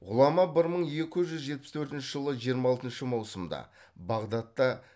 ғұлама бір мың екі жүз жетпіс төртінші жылы жиырма алтыншы маусымда бағдатта